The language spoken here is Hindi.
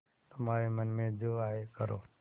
तुम्हारे मन में जो आये करो